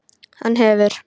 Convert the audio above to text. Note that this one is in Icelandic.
Hann hefur.